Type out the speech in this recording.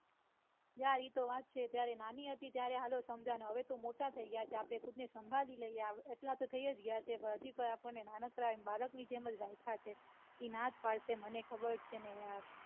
યાર એતો વાત છે ત્યારે નાની હતી ત્યારે હાલો સમજાયું હવે તો મોટા થઇ ગયા છે આપડે ખુદ ને સંભળી લૈયે એટલા તો થઇ જ ગયા છે પણ હજી કોય નાનકડા બાળકની જેમ જ રાઇઃખ્યાં છે. એ ના જ પડશે મને ખબર છે ને યાર.